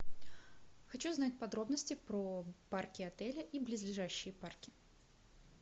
хочу знать подробности про парки отеля и близлежащие парки